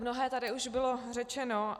Mnohé už tady bylo řečeno.